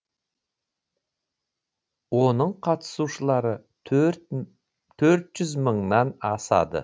оның қатысушылары төрт жүз мыңнан асады